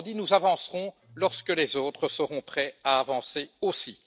Autrement dit, nous avancerons lorsque les autres seront prêts à avancer aussi.